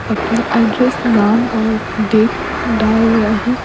अपना एड्रेस नाम और डेट डाल रहे हैं।